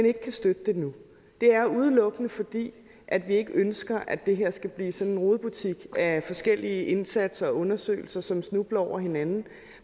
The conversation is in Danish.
ikke kan støtte det nu er udelukkende at vi ikke ønsker at det her skal blive sådan en rodebutik af forskellige indsatser og undersøgelser som snubler over hinanden vi